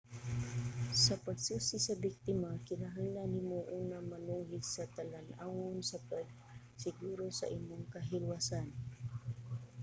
sa pagsusi sa biktima kinahanglan nimo una manuhid sa talan-awon sa pagsiguro sa imong kahilwasan